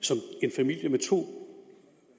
familie med to